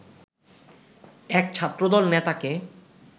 এক ছাত্রদল নেতাকে